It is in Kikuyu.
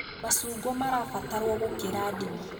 Machungwa marabatarwo gũkĩra ndimũ